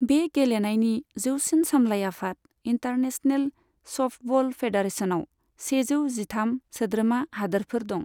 बे गेलेनायनि जौसिन सामलाय आफाद, इन्टारनेशनेल सफ्टबल फेडारेशनाव सेजौ जिथाम सोद्रोमा हादोरफोर दं।